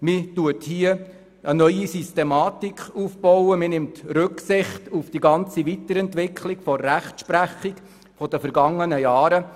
Man baut hier eine neue Systematik auf und nimmt Rücksicht auf die ganze Weiterentwicklung in der Rechtsprechung der vergangenen Jahre.